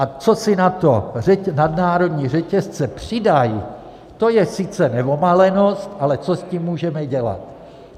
A co si na to nadnárodní řetězce přidají, to je sice neomalenost, ale co s tím můžeme dělat.